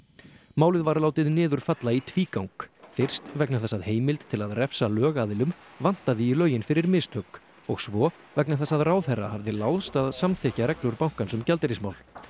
málið var látið niður falla í tvígang fyrst vegna þess að heimild til að refsa lögaðilum vantaði í lögin fyrir mistök og svo vegna þess að ráðherra hafði láðst að samþykkja reglur bankans um gjaldeyrismál